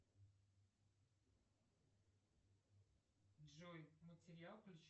джой материал